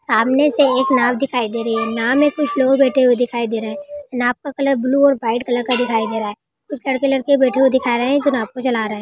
सामने से एक नाव दिखाई दे रहे हैं नाव मैं कुछ लोग बैठे हुए दिखाई दे रहे हैं नाव का कलर ब्लू और व्हाइट कलर का दिखाई दे रहा है कुछ लड़के-लड़की बैठे हुई दिखा रहे हैं जो नाव को चला रहे हैं।